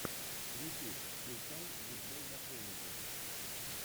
ютюб включай диджейдакэнди